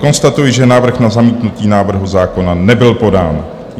Konstatuji, že návrh na zamítnutí návrhu zákona nebyl podán.